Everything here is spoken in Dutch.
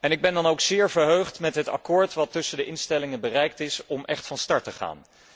Ik ben dan ook zeer verheugd met het akkoord dat tussen de instellingen bereikt is, om echt van start te gaan.